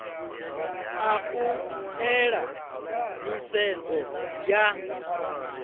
a u ela nḓisedzo ya